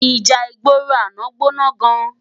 Íjá igbóró àná gbóná gán